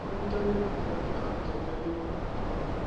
ũnyitanĩri gatagatĩ ka atongoria nĩ wa bata mũno.